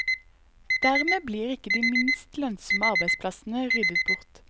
Dermed blir ikke de minst lønnsomme arbeidsplassene ryddet bort.